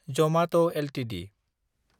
Jamaat Ltd